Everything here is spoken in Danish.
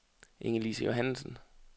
Ingelise Johannesen